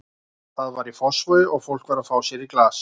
Það var í Fossvogi og fólk var að fá sér í glas.